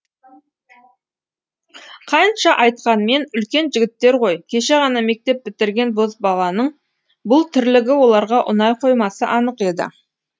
қанша айтқанмен үлкен жігіттер ғой кеше ғана мектеп бітірген бозбаланың бұл тірлігі оларға ұнай қоймасы анық еді